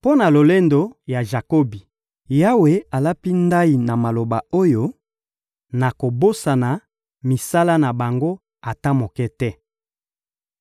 Mpo na lolendo ya Jakobi, Yawe alapi ndayi na maloba oyo: «Nakobosana misala na bango ata moko te.